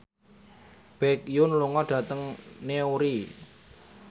Baekhyun lunga dhateng Newry